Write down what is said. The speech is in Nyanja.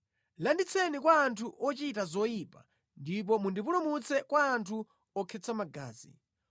Landitseni kwa anthu ochita zoyipa ndipo mundipulumutse kwa anthu okhetsa magazi.